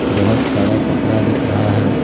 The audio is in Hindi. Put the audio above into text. बहुत सारा कपड़ा दिख रहा है।